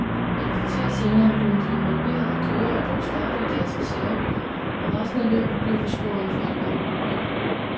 Et kvarter senere kunne de involverede kørere dog starte i deres reservebiler, og resten af løbet blev forskånet for alvorlige ulykker.